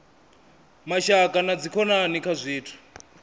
mashaka na dzikhonani kha zwithu